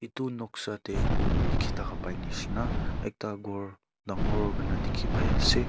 itu noksa te dikhi thaka pai nishina ekta ghor dangor kuri na dikhi pai ase.